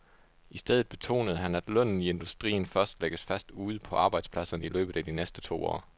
I stedet betonede han, at lønnen i industrien først lægges fast ude på arbejdspladserne i løbet af de næste to år.